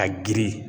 Ka girin